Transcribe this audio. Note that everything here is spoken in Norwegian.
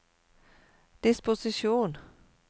disposisjon